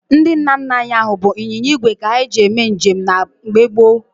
Ndị nna nna anyị ha bụ ịnyịnya igwe ka ha ji eme njem na mgbe gboo.